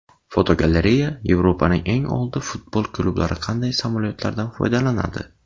Fotogalereya: Yevropaning eng oldi futbol klublari qanday samolyotlardan foydalanadi?.